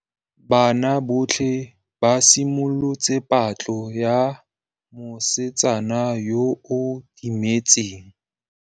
Banna botlhê ba simolotse patlô ya mosetsana yo o timetseng.